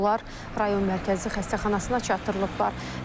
Onlar rayon mərkəzi xəstəxanasına çatdırılıblar.